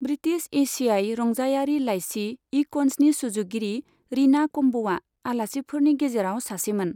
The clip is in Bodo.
ब्रिटिश एशियाइ रंजायारि लाइसि इकन्जनि सुजुगिरि रीना कम्बआ आलासिफोरनि गेजेराव सासेमोन।